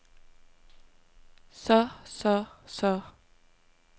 så så så